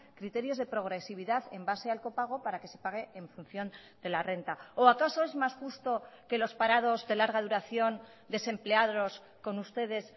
criterios de progresividad en base al copago para que se pague en función de la renta o acaso es mas justo que los parados de larga duración desempleados con ustedes